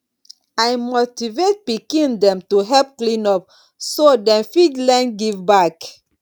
i motivate pikin dem to help clean up so dem fit learn give back